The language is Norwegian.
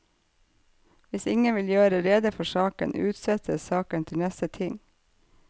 Hvis ingen vil gjøre rede for saken, utsettes saken til neste ting.